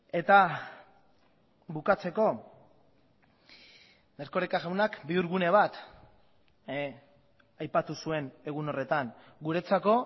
eta bukatzeko erkoreka jaunak bihurgune bat aipatu zuen egun horretan guretzako